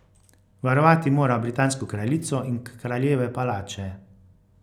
Varovati mora britansko kraljico in kraljeve palače.